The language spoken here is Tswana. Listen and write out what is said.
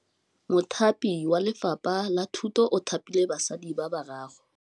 Mothapi wa Lefapha la Thutô o thapile basadi ba ba raro.